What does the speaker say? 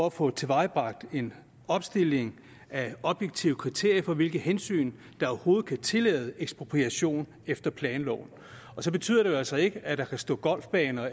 at få tilvejebragt en opstilling af objektive kriterier for hvilke hensyn der overhovedet kan tillade ekspropriation efter planloven det betyder jo altså ikke at der kan stå golfbaner